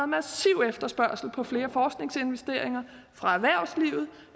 massiv efterspørgsel på flere forskningsinvesteringer fra erhvervslivet